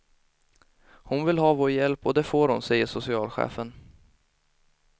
Hon vill ha vår hjälp och det får hon, säger socialchefen.